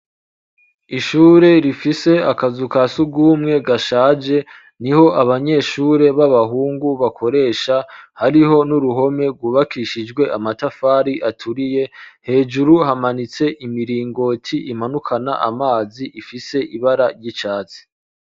Ishure rifise akazu ka sugumwe gashaje niho abanyeshure b'abahungu bakoresha hariho nuruhome rwubakishijwe amatafari aturiye hejuru hamanitse imiringoti imanukana amazi ifise ibara ry'icatsi.